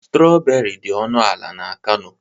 Strọberị dị ọnụ ala n'Kano.